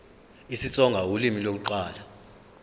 isitsonga ulimi lokuqala